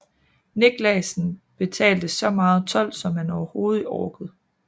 Niclasen betalte så meget told som man overhovedet orkede